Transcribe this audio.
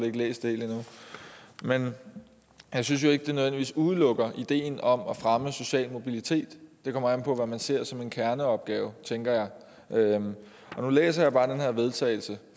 ikke læst det hele endnu men jeg synes ikke det nødvendigvis udelukker ideen om at fremme social mobilitet det kommer an på hvad man ser som en kerneopgave tænker jeg og nu læser jeg bare vedtagelse